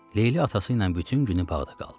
Leyli atası ilə bütün günü bağda qaldı.